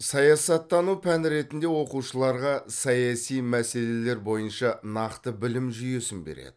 саясаттану пән ретінде оқушыларға саяси мәселелер бойынша нақты білім жүйесін береді